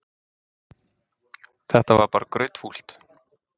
Þetta var bara grautfúlt.